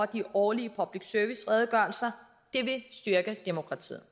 de årlige public service redegørelser det styrke demokratiet